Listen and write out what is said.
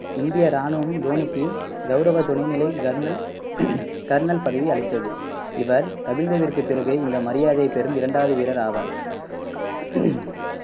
இந்திய ராணுவம் தோனிக்கு கௌரவ துணைநிலை கர்னல் கர்னல் பதவி அளித்தது இவர் கபில்தேவிற்குப் பிறகு இந்த மரியாதையைப் பெறும் இரண்டாவது வீரர் ஆவார்